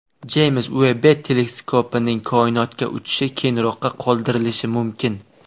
Jeyms Uebb teleskopining koinotga uchishi keyinroqqa qoldirilishi mumkin.